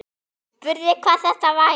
Spurði hvað þetta væri.